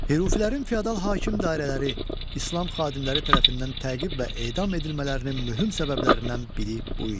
Hürufilərin feodal hakim dairələri, İslam xadimləri tərəfindən təqib və edam edilmələrinin mühüm səbəblərindən biri bu idi.